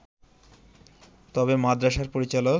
তবে মাদ্রাসার পরিচালক